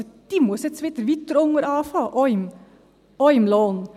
Also, sie muss jetzt wieder weiter unten anfangen, auch im Lohn.